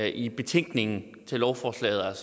i betænkningen til lovforslaget